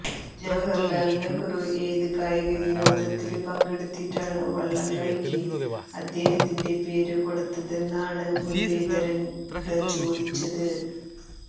ജവഹര് ലാല് നെഹ്റു ഏത് കായിക വിനോദത്തില് പങ്കെടുത്തിട്ടാണ് വള്ളം കളിക്ക് അദ്ദേഹത്തിന്റെ പേര് കൊടുത്തതെന്നാണ് മുരളീധരന് ടചോദിച്ചത്